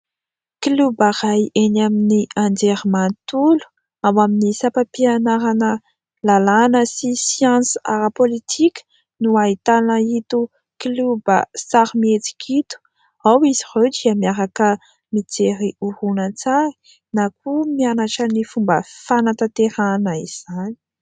"Kloba" iray enỳ amin'ny anjerimanontolo ao amin'ny sapam-pianarana lalàna sy siansa ara-pôlitika no ahitana ito "kloba" sary mihetsika ito. Ao izy ireo dia miaraka mijery horonantsary na koa mianatra ny fomba fanantanterahana izany.